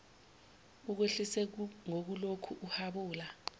ukwehlise ngokulokhu uhabula